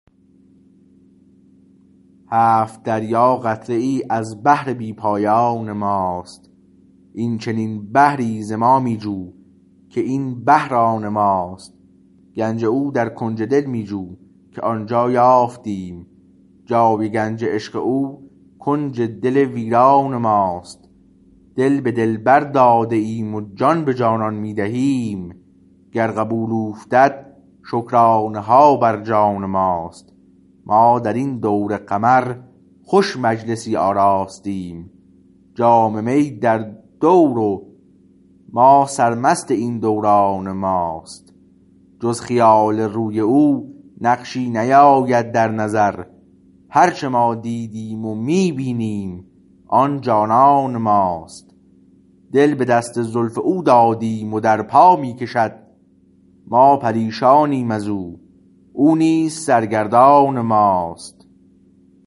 هفت دریا قطره ای ازبحر بی پایان ماست این چنین بحری ز ما می جو که این بحر آن ماست گنج او در کنج دل می جوکه آنجا یافتیم جای گنج عشق او کنج دل ویران ماست دل به دلبر داده ایم وجان به جانان می دهیم گر قبول اوفتد شکرانه هابر جان ماست ما درین دور قمر خوش مجلسی آراستیم جام می در دور و ما سرمست این دوران ماست جز خیال روی او نقشی نیاید در نظر هرچه ما دیدیمو می بینیم آنجانان ما است دل به دست زلف اودادیم و در پا می کشد ما پریشانیم از او او نیز سرگردان ماست